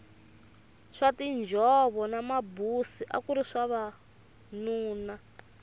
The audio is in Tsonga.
swa tinjhovo na mabusi akuri swa vanuna